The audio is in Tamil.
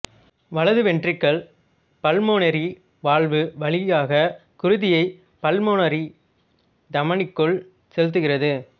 வலது வெண்ட்டிரிக்கிள் பல்மோனரி வால்வு வழியாக குருதியை பல்மோனரி தமனிக்குள் செலுத்துகிறது